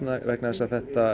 vegna þess að